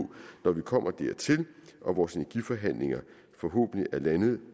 når vi kommer dertil og vores energiforhandlinger forhåbentlig er landet